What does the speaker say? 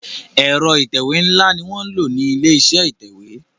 Ẹ̀rọ ìtẹ̀wé nla ní wọ nlọ ní ilé-iṣẹ́ ìtẹ̀wé.